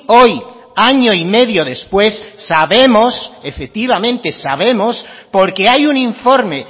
hoy año y medio después sabemos efectivamente sabemos porque hay un informe